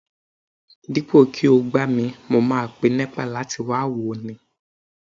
Dípò kí ó gbá mi mo máa pe Nepa láti wá wò ó ni